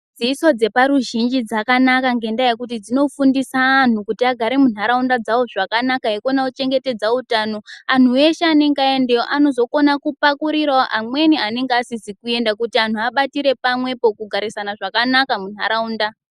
Dzidziso dzeparuzhinji dzakanaka ngendaa yekuti dzinofundisa anhu kuti agare munharaunda dzawo zvakanaka eikona kuchengetedza utano. Anhu eshe anenge aendeyo anozokona kupakurirawo amweni anenge asizi kuenda kuti anhu abatire pamwepo kugarisana zvakanaka munharaunda.